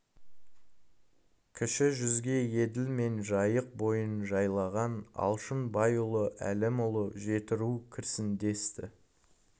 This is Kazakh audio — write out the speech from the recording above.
кіші жүзге еділ мен жайық бойын жайлаған алшын байұлы әлімұлы жетіру кірсін десті